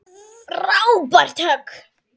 Frábært högg.